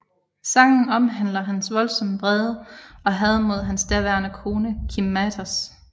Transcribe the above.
Sangen omhandler hans voldsomme vrede og had mod hans daværende kone Kim Mathers